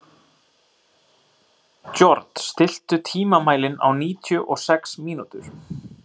George, stilltu tímamælinn á níutíu og sex mínútur.